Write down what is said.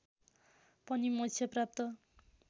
पनि मोक्ष प्राप्त